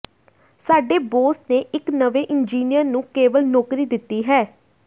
ਸਾਡੇ ਬੌਸ ਨੇ ਇੱਕ ਨਵੇਂ ਇੰਜੀਨੀਅਰ ਨੂੰ ਕੇਵਲ ਨੌਕਰੀ ਦਿੱਤੀ ਹੈ